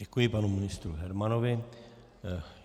Děkuji panu ministru Hermanovi.